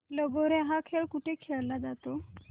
लगोर्या हा खेळ कुठे खेळला जातो